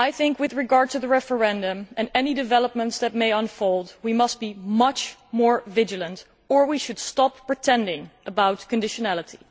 With regard to the referendum and any developments that may unfold we must be much more vigilant or we should stop pretending about conditionality.